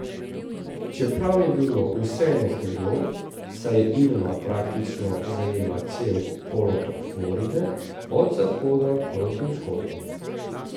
Čeprav je bilo vseeno hudo, saj je Irma praktično zajela cel polotok Floride od zahoda proti vzhodu.